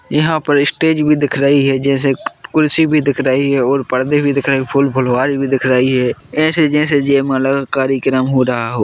यहाँ पर स्टेज भी दिख रही है जैसे खुर्सी भी दिख रही है और पर्दे भी दिख रहे है फूल फुलवारी भी दिख रही है ऐसे जैसे जयमाला कार्यक्रम हो रहा हो।